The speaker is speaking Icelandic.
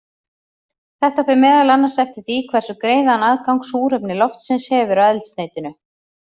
Þetta fer meðal annars eftir því hversu greiðan aðgang súrefni loftsins hefur að eldsneytinu.